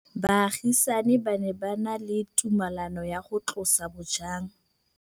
Baagisani ba ne ba na le tumalanô ya go tlosa bojang.